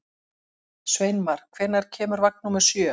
Sveinmar, hvenær kemur vagn númer sjö?